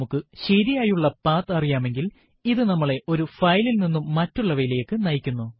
നമുക്ക് ശരിയായുള്ള പത്ത് അറിയാമെങ്കിൽ ഇത് നമ്മളെ ഒരു ഫയലിൽ നിന്നും മറ്റുള്ളവയിലേക്കു നയിക്കുന്നു